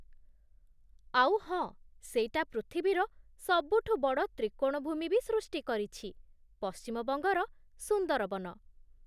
ଆଉ ହଁ, ସେଇଟା ପୃଥିବୀର ସବୁଠୁ ବଡ଼ ତ୍ରିକୋଣଭୂମି ବି ସୃଷ୍ଟି କରିଛି, ପଶ୍ଚିମବଙ୍ଗର ସୁନ୍ଦରବନ।